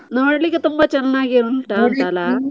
ನೋಡ್ಲಿಕ್ಕೆ ತುಂಬಾ ಚೆನ್ನಾಗಿ ಉಂಟಾ ಅಂತ ಅಲ್ಲ?